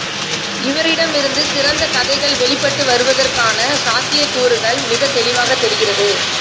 இவரிடமிருந்து சிறந்த கதைகள் வெளிப்பட்டு வருவதற்கான சாத்தியக்கூறுகள் மிகத் தெளிவாகத் தெரிகிறது